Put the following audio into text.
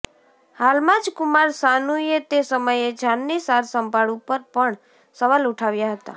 હાલમાં જ કુમાર સાનૂએ તે સમયે જાનની સાર સંભાળ ઉપર પણ સવાલ ઉઠાવ્યા હતા